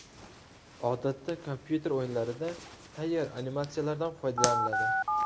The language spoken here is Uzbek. Odatda kompyuter o‘yinlarida tayyor animatsiyalardan foydalaniladi.